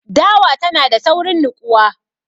Dawa tanada saurin niƙuwa.